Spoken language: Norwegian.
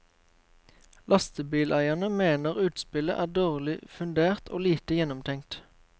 Lastebileierne mener utspillet er dårlig fundert og lite gjennomtenkt.